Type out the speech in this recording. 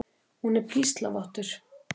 Hún er píslarvottur.